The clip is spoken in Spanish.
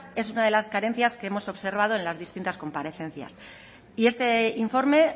es una de las carencias que hemos observado en las distintas comparecencias y este informe